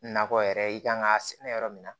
Nakɔ yɛrɛ i kan ka sɛnɛ yɔrɔ min na